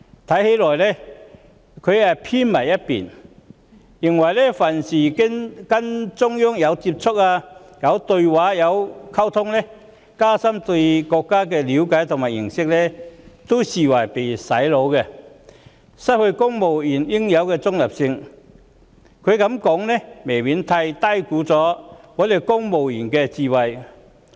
他似乎有所偏頗，但凡跟中央有接觸、有對話、有溝通或須加深對國家的了解和認識的事，他也會視為旨在"洗腦"，令公務員失去應有的中立性，他這樣說未免過於低估本港公務員的智慧。